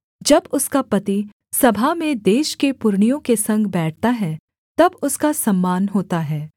जब उसका पति सभा में देश के पुरनियों के संग बैठता है तब उसका सम्मान होता है